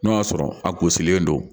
N'o y'a sɔrɔ a gosilen don